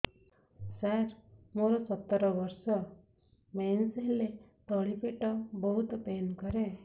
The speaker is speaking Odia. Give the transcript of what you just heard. ସାର ମୋର ସତର ବର୍ଷ ମେନ୍ସେସ ହେଲେ ତଳି ପେଟ ବହୁତ ପେନ୍ କରେ